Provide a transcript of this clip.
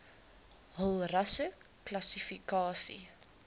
hul rasseklassi kasie